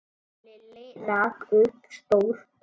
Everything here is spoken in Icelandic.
Lilli rak upp stór augu.